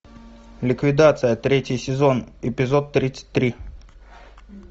ликвидация третий сезон эпизод тридцать три